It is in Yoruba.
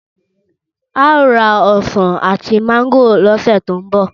Ao ra osan ati mángòrò lose to nbo.